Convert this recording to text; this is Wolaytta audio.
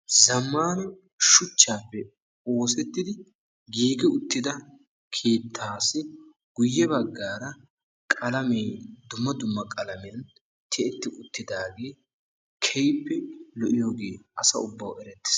Zammaana shuchchaappe oosettidi giigi uttida keettaassi guyye baggaara qalamiyan dumma dumma qalamiyan tiyetti ittidaagee keehippe lo"iyoge asa ubbawu erettes.